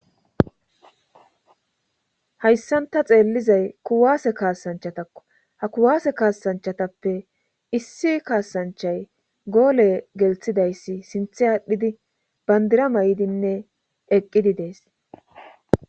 Hayssanta xeellizay kuwaase kaasanchatakko ha kuwaase kaasanchatappe issi kaasanchay goole gelthidayssi sinthe aadhdhidi bandira may'idinne eqqidi dees